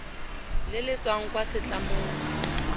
le le tswang kwa setlamong